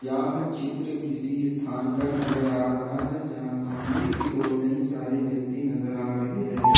यह चित्र किसी स्थान का नजर आ रहा है जहां सामने की ओर कई सारे व्यक्ति नजर आ रहे हैं।